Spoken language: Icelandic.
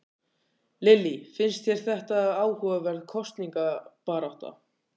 Lillý: Finnst þér þetta áhugaverð kosningabarátta?